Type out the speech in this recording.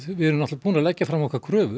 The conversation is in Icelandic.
við erum búin að leggja fram kröfur